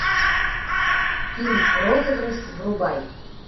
фильм розыгрыш врубай